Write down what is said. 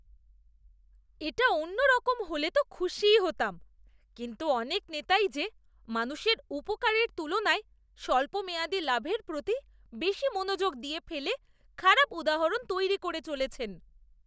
এটা অন্যরকম হলে তো খুশিই হতাম, কিন্ত অনেক নেতাই যে মানুষের উপকারের তুলনায় স্বল্পমেয়াদী লাভের প্রতি বেশি মনোযোগ দিয়ে ফেলে খারাপ উদাহরণ তৈরী করে চলেছেন।